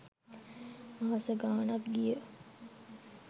මාස ගාණක් ගිය